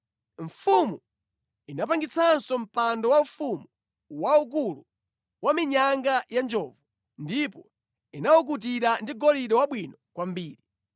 Mfumu inapangitsanso mpando waufumu waukulu wa minyanga ya njovu, ndipo inawukutira ndi golide wabwino kwambiri.